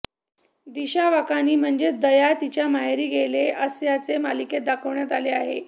दिशा वाकानी म्हणजेच दया तिच्या माहेरी गेली असल्याचे मालिकेत दाखवण्यात आलेले आहे